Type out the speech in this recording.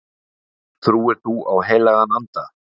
Trúir þú á heilagan anda